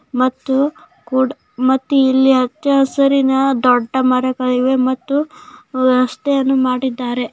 ಮತ್ತು ಕುಡ ಮತ್ತು ಇಲ್ಲಿ ಹಚ್ಚ ಹಸಿರಿನ ದೊಡ್ಡ ಮರಗಳಿವೆ ಮತ್ತು ರಸ್ತೆಯಲ್ಲಿ ಮಾಡಿದ್ದಾರೆ --